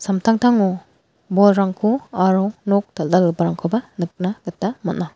bolrangko aro nok dal·dalgiparangkoba nikna gita man·a.